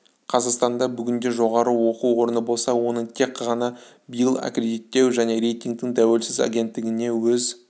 қазақстанда бүгінде жоғары оқу орны болса оның тек ғана биыл аккредиттеу және рейтингтің тәуелсіз агенттігінде өз